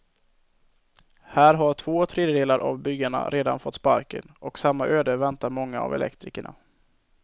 Här har två tredjedelar av byggarna redan fått sparken, och samma öde väntar många av elektrikerna.